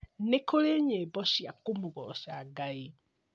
Nĩkũrĩ nyĩmbo cia kũmũgoca Ngai